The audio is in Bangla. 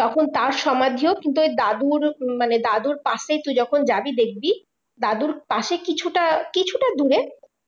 তখন তার সমাধিও কিন্তু ওই দাদুর মানে দাদুর পাশে তুই যখন যাবি দেখবি দাদুর পাশে কিছুটা কিছুটা দূরে